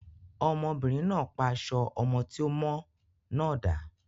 Obìnrin náà pa aṣọ ọmọ tí ò mọ́ náà dà.